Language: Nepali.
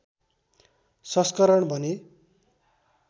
संस्करण भने